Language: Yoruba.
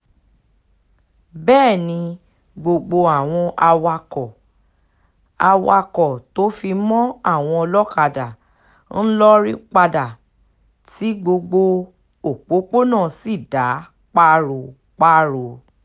bẹ́ẹ̀ ni gbogbo àwọn awakọ̀ awakọ̀ tó fi mọ́ àwọn ọlọ́kadà ń lórí padà tí gbogbo òpópónà sì dá páro-páro